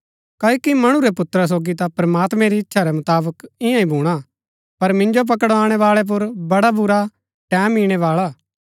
क्ओकि मणु रै पुत्रा सोगी ता प्रमात्मैं री इच्छा रै मुताबक ईयां ही भूणा पर मिन्जो पकड़ाणै बाळै पुर बड़ा बुरा टैमं इणै बाळा हा